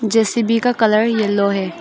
JCB का colour yellow है।